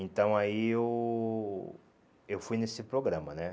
Então aí eu eu fui nesse programa, né?